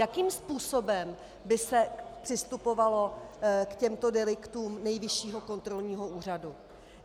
Jakým způsobem by se přistupovalo k těmto deliktům Nejvyššího kontrolního úřadu?